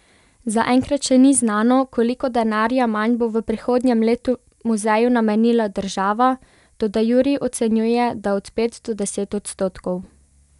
Zaenkrat še ni znano, koliko denarja manj bo v prihodnjem letu muzeju namenila država, toda Jurij ocenjuje, da od pet do deset odstotkov.